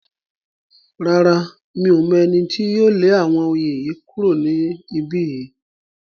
Rárá, Mi ò mọ̀ ẹni tí yóò lé àwọn oyin yìí kúrò ní ibí yìí